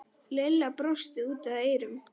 Lilla brosti út að eyrum.